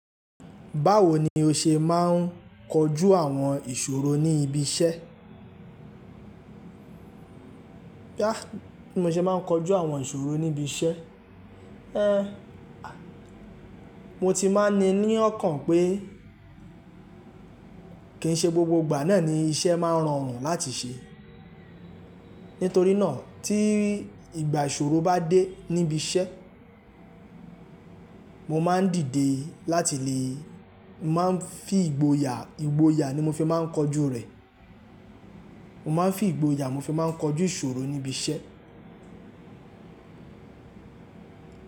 Báwo ni o ṣe máa ń kojú àwọn ìṣòro ní ibi iṣẹ́? Bí mo ṣe máa ń kojú àwọn ìṣòro níbi iṣẹ́? Mo ti máa n ní i ní ọkàn pe ké ṣe gbogbo ìgbà naa ni iṣẹ́ maa n rọrùn láti ṣe. Nítorí náà tí ìgbà ìṣòro bá dé níbi iṣẹ́, mo máa ń dìde láti lè, mo máa ń fi ìgboyà, ìgboyà ni mo fi máa ń kojú rẹ̀. Mo máa ń fi ìgboyà mo fi máa ń kojú ìṣòro níbi iṣẹ́.